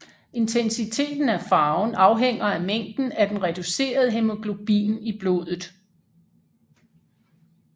Intensiteten af farven afhænger af mængden af den reducerede hæmoglobin i blodet